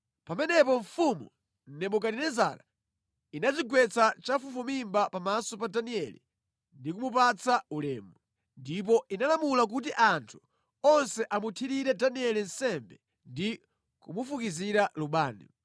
Pamenepo mfumu Nebukadinezara inadzigwetsa chafufumimba pamaso pa Danieli ndi kumupatsa ulemu. Ndipo inalamula kuti anthu onse amuthirire Danieli nsembe ndi kumufukizira lubani.